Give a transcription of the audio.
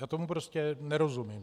Já tomu prostě nerozumím.